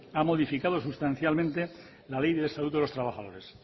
ha modificado sustancialmente la ley de salud de los trabajadores